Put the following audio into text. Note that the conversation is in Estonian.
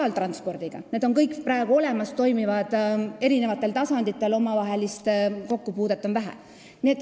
Need transpordiliigid on kõik praegu olemas, need toimivad eri tasanditel, omavahelist kokkupuudet on vähe.